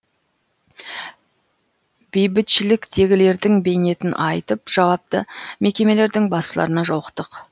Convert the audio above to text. бейбітшіліктегілердің бейнетін айтып жауапты мекемелердің басшыларына жолықтық